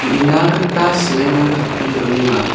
uina gita seeming tape donenga.